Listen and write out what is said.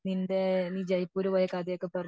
നിന്റെ നെ ജയ്‌പൂർ പോയ കഥ ഓക്കെ പറഞ്ഞിട്ട്